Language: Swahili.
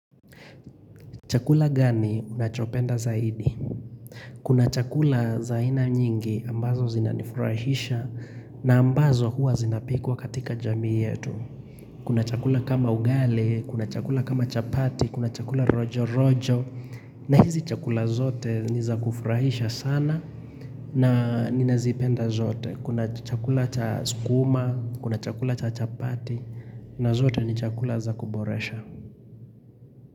Chakula gani unachopenda zaidi? Kuna chakula zaina nyingi ambazo zinanifurahisha na ambazo huwa zinapikuwa katika jamii yetu. Kuna chakula kama ugali, kuna chakula kama chapati, kuna chakula rojo rojo na hizi chakula zote niza kufurahisha sana na nina zipenda zote. Kuna chakula cha skuma, kuna chakula cha chapati na zote ni chakula za kuboresha.